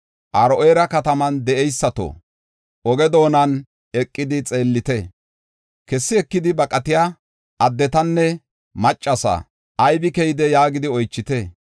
Aro7eera kataman de7eysato, oge doonan eqidi xeellite; kessi ekidi baqatiya addetanne maccasa, ‘Aybe keyday?’ yaagidi oychite.